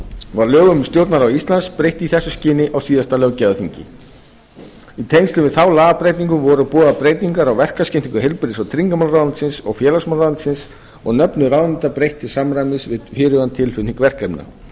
var lögum um stjórnarráð íslands breytt í þessu skyni á síðasta löggjafarþingi í tengslum við þá lagabreytingu voru boðaðar breytingar á verkaskiptingu heilbrigðis og tryggingamálaráðuneytisins og félagsmálaráðuneytisins og nöfnum ráðuneyta breytt í samræmi við fyrirhugaðan tilflutning verkefna